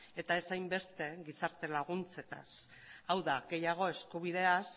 eta ez hainbeste gizarte laguntzetaz hau da gehiago eskubideaz